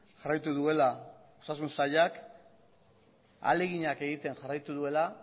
jarraitu duela osasun sailak ahaleginak egiten jarraitu duela